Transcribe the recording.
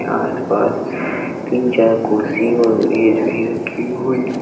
आसपास तीन चार कुर्सी और मेज भी रखी हुई --